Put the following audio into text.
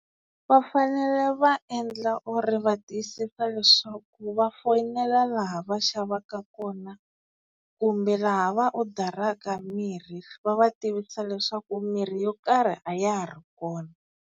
Va fanele va endla or va tiyisisa leswaku va foyinela laha va xavaka kona kumbe laha va odaraka mirhi, va va tivisa leswaku mirhi yo karhi a ya ha ri kona.